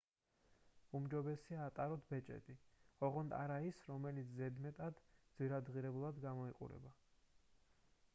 უმჯობესია ატაროთ ბეჭედი ოღონდ არა ის რომელიც ზედმეტად ძვირადღირებულად გამოიყურება